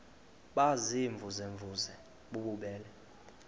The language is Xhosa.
baziimvuze mvuze bububele